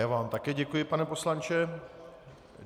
Já vám také děkuji, pane poslanče.